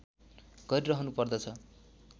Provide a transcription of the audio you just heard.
गरिरहनु पर्दछ